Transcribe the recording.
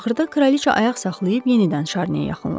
Axırda kraliça ayaq saxlayıb yenidən Şarniyə yaxınlaşdı.